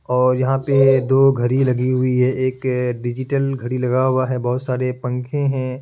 और यहा पे दो घड़ी लगी हुई है एक डिजिटल लगा हुवा है बहुत सारे पंखे है ।